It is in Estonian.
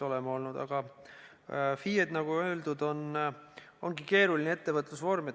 Aga FIE-d, nagu öeldud, ongi keeruline ettevõtlusvorm.